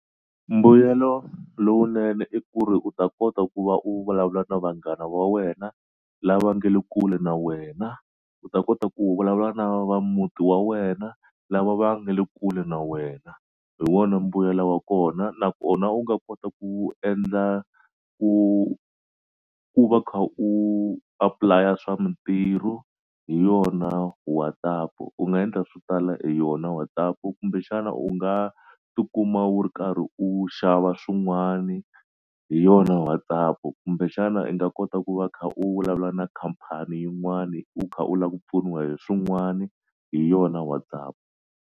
Mbuyelo lowunene i ku ri u ta kota ku va u vulavula na vanghana va wena lava nge le kule na wena u ta kota ku vulavula na va muti wa wena lava va nga le kule na wena hi wona mbuyelo wa kona nakona u nga kota ku endla ku ku va kha u apply a swa mitirhu hi yona WhatsApp u nga endla swo tala hi yona WhatsApp kumbexana u nga ti kuma u ri karhi u xava swin'wani hi yona WhatsApp kumbexana i nga kota ku va kha u vulavula na khampani yin'wani u kha u la ku pfuniwa hi swin'wani hi yona WhatsApp.